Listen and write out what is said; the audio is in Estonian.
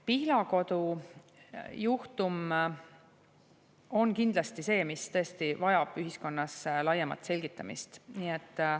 Pihlakodu juhtum on kindlasti see, mis tõesti vajab ühiskonnas laiemat selgitamist.